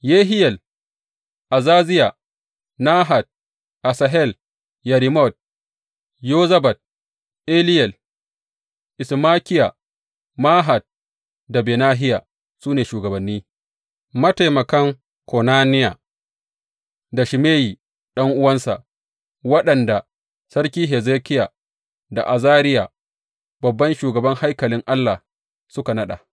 Yehiyel, Azaziya, Nahat, Asahel, Yerimot, Yozabad, Eliyel, Ismakiya, Mahat da Benahiya su ne shugabanni, mataimakan Konaniya da Shimeyi ɗan’uwansa, waɗanda sarki Hezekiya da Azariya babban shugaban haikalin Allah suka naɗa.